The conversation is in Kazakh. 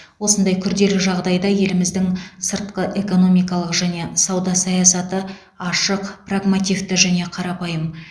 осындай күрделі жағдайда еліміздің сыртқы экономикалық және сауда саясаты ашық прагмативті және қарапайым